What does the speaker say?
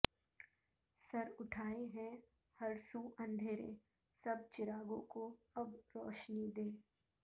سر اٹھائے ہیں ہر سو اندھیرے سب چراغوں کو اب روشنی دے